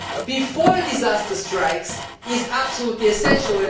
before a disaster strikes is absolutely essential.